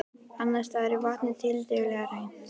Annars staðar er vatnið tiltölulega hreint.